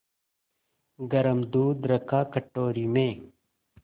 गरम दूध रखा कटोरी में